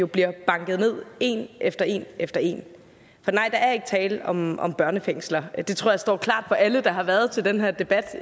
bliver banket ned en efter en efter en for nej der er ikke tale om om børnefængsler og det tror jeg står klart for alle der har været til den her debat